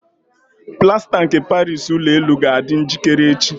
Plasta nke Paris Ụlọ elu ga-adị njikere echi.